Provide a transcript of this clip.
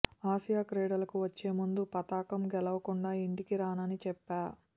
Asia క్రీడలకు వచ్చే ముందు పతకం గెలవకుండా ఇంటికి రానని చెప్పా